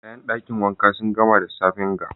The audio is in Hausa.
Kayan dakin wanka sun gama da safen ga.